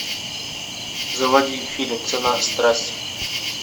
заводи фильм цена страсти